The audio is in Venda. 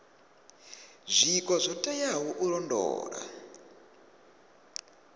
zwiko zwo teaho u londola